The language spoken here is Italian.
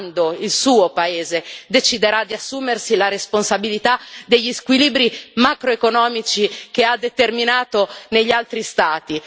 Quando il suo paese deciderà di assumersi la responsabilità degli squilibri macroeconomici che ha determinato negli altri Stati?